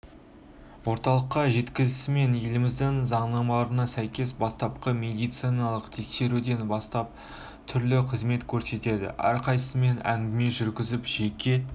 орталыққа жеткізілісімен еліміздің заңнамаларына сәйкес бастапқы медициналық тексеруден бастап түрлі қызмет көрсетіледі әрқайсымен әңгіме жүргізіліп жеке